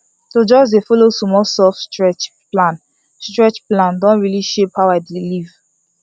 to just dey follow small soft stretch plan stretch plan don really shape how i dey live